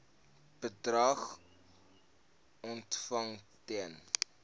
bedrag ontvang ten